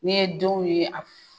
N'i ye denw ye a